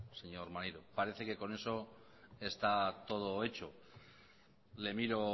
señor maneiro parece que con eso está todo hecho le miro